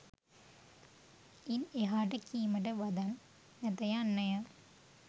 ඉන් එහාට කීමට වදන් නැත යන්නය.